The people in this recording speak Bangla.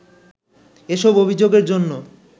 এসব অভিযোগের জন্য